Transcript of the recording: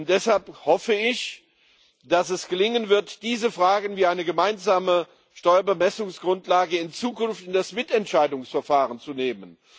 Deshalb hoffe ich, dass es gelingen wird, diese Fragen, wie die einer gemeinsamen Steuerbemessungsgrundlage, in Zukunft in das Mitentscheidungsverfahren zu nehmen.